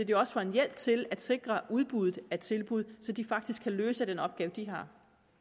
det også er en hjælp til at sikre udbuddet af tilbud så de faktisk kan løse den opgave de har